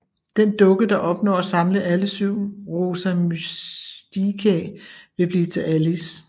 Den dukke der opnår at samle alle syv Rosa Mysticae vil blive til Alice